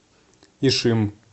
ишим